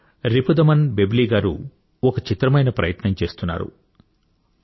శ్రీ రిపుదమన్ బెవ్లి గారు ఒక చిత్రమైన ప్రయత్నం చేస్తున్నారు